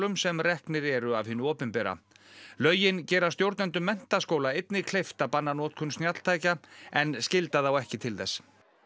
sem reknir eru af hinu opinbera lögin gera stjórnendum menntaskóla einnig kleift að banna notkun snjalltækja en skylda þá ekki til þess